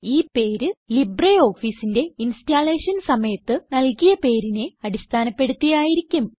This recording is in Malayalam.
ഈ പേര് LibreOfficeന്റെ ഇൻസ്റ്റലേഷൻ സമയത്ത് നല്കിയ പേരിനെ അടിസ്ഥാനപ്പെടുത്തി ആയിരിക്കും